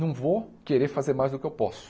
Não vou querer fazer mais do que eu posso.